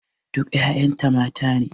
Duk ƴaƴan ta mata ne.